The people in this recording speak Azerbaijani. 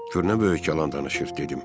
Gör nə böyük yalan danışır, dedim.